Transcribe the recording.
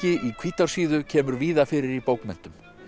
í Hvítársíðu kemur víða fyrir í bókmenntum